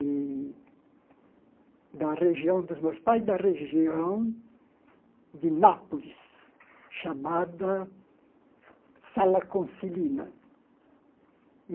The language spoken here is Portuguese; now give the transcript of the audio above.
E da região dos meus pais, da região de Nápoles, chamada Salaconcelina.